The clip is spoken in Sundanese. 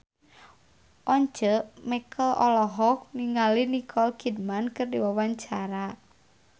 Once Mekel olohok ningali Nicole Kidman keur diwawancara